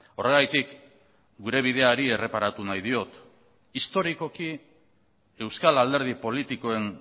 horregatik gure bideari erreparatu nahi diot historikoki euskal alderdi politikoen